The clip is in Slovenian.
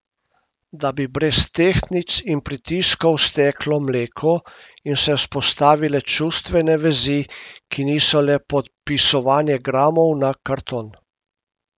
Da bi brez tehtnic in pritiskov steklo mleko in se vzpostavile čustvene vezi, ki niso le popisovanje gramov na karton.